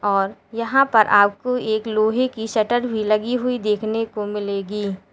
और यहां पर आपको एक लोहे की शटर भी लगी हुई देखने को मिलेगी।